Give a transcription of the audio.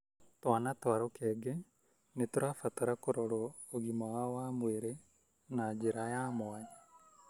Twana twa rũkenge nĩ tũrabatara kũrorwo ũgima wao wa mwĩrĩ na njĩra ya mwanya